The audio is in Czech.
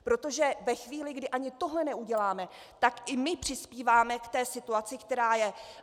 Protože ve chvíli, kdy ani tohle neuděláme, tak i my přispíváme k té situaci, která je.